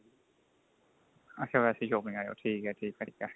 ਅੱਛਾ ਵੈਸੇ ਹੀ shopping ਆਏ ਹੋ ਠੀਕ ਏ ਠੀਕ ਏ ਠੀਕ ਏ